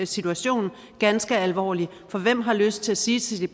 situation ganske alvorligt for hvem har lyst til at sige